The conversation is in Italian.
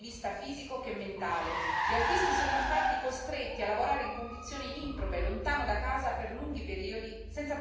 Gli autisti sono infatti costretti a lavorare in condizioni improbe, lontano da casa per lunghi periodi, senza possibilità di reali interruzioni